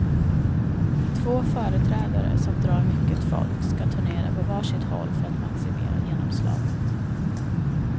Två företrädare som drar mycket folk ska turnera på varsitt håll för att maximera genomslaget.